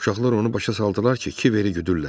Uşaqlar onu başa saldılar ki, Kiveri güdürlər.